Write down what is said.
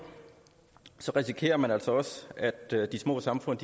så risikerer man altså også at de små samfund